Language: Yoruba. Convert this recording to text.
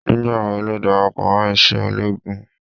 Nígbà wo darapọ̀ mọ́ iṣẹ́ ológun?